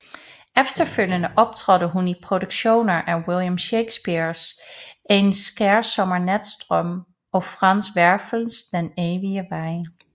Efterfølgende optrådte hun i produktioner af William Shakespeares En skærsommernatsdrøm og Franz Werfels Den evige vej